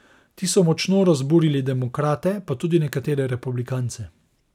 Ti so močno razburili demokrate, pa tudi nekatere republikance.